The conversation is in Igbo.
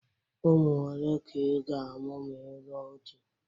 Ụmụ ole ka ị ga-amụ ma ị lụọ di?